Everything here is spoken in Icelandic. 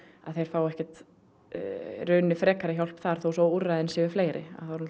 að þeir fá ekkert frekari hjálp þar þó úrræðin séu fleiri